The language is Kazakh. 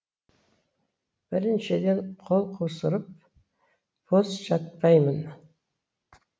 біріншіден қол қусырып бос жатпаймын